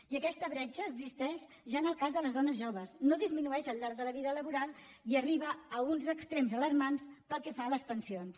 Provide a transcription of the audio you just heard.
i aquesta bretxa existeix ja en el cas de les dones joves no disminueix al llarg de la vida laboral i arriba a uns extrems alarmants pel que fa a les pensions